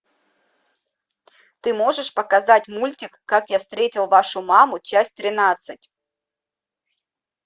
ты можешь показать мультик как я встретил вашу маму часть тринадцать